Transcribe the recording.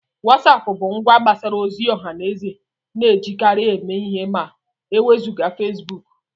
WhatsApp bụ ngwa mgbasa ozi ọha na eze na-ejikarị eme ihe ma e wezụga Facebook